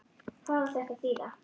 Hvað á þetta að þýða!